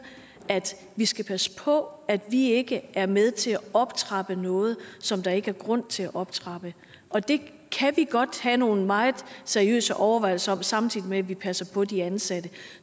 at vi skal passe på at vi ikke er med til at optrappe noget som der ikke er grund til at optrappe og det kan vi godt have nogle meget seriøse overvejelser om samtidig med at vi passer på de ansatte